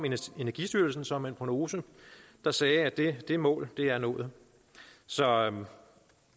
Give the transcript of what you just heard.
energistyrelsen så med en prognose der sagde at det det mål er nået så